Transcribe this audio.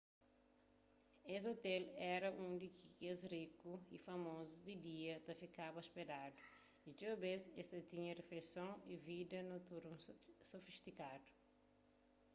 es ôtel éra undi ki kes rikus y famozus di dia ta fikaba ôspedadu y txeu bês es ta tinha rifeisons y vida noturnu sofistikadu